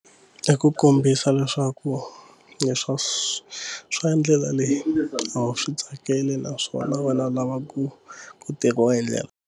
I ku kombisa leswaku leswa swa swa ndlela leyi a wu swi tsakeli naswona vana lava ku ku tekiwa hi ndlela.